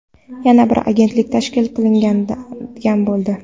Yana bir agentlik tashkil qilinadigan bo‘ldi.